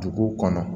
Duguw kɔnɔ